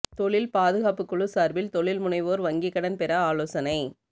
தொழில் பாதுகாப்புக்குழு சார்பில் தொழில் முனைவோர் வங்கி கடன் பெற ஆலோசனை